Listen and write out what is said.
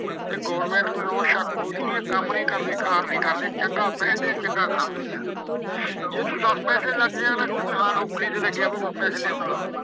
ਤੇ ਗੌਰਮਿੰਟ ਨੂੰ ਇਉਂ ਸ਼ੱਕ ਹੋਜੂ ਵੀ ਇਹ ਕੰਮ ਨੀ ਕਰਦੇ, ਕਾਰ ਨੀ ਕਰਦੇ। ਚੰਗਾ ਪਹਿਨਦੇ ਆ, ਚੰਗਾ ਖਾਂਦੇ ਆ। ਜੇ ਤੂੰ ਦਸ ਪੈਸੇ ਲੱਗ ਜਏ ਕਹੂ ਗਏ, ਹਾਂ ਨੌਕਰੀ ਤੇ ਲੱਗਿਆ ਵਾ ਦਸ ਪੈਸੇ ਲਿਆਉਂਦਾ।